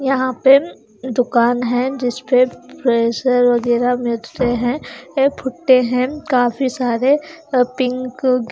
यहां पर दुकान है जिस पे प्रेशर वगैरा मिलते हैं एक भुट्टे हैं काफी सारे पिक --